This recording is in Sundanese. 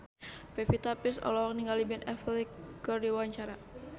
Pevita Pearce olohok ningali Ben Affleck keur diwawancara